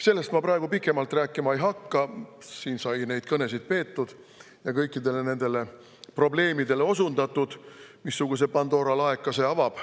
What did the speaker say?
Sellest ma praegu pikemalt rääkima ei hakka, siin sai neid kõnesid peetud ja osundatud kõikidele nendele probleemidele, missuguse Pandora laeka see avab.